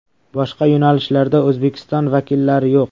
Boshqa yo‘nalishlarda O‘zbekiston vakillari yo‘q.